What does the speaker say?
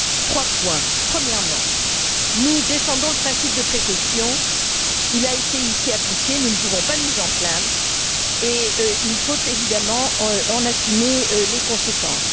Trois points premièrement, nous défendons le principe de précaution. Il a été appliqué ici, nous ne pouvons pas nous en plaindre, et il faut évidemment en assumer les conséquences.